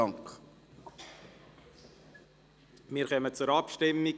Wir kommen zur Abstimmung.